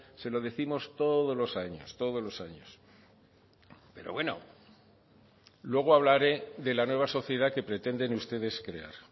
se lo décimos todos los años todos los años pero bueno luego hablaré de la nueva sociedad que pretenden ustedes crear